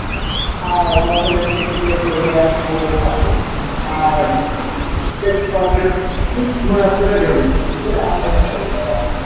আর বছরের শেষে তো একটু relax mode এই থাকে আর ঘোরা প্রয়োজন সেটা আমি মনে করি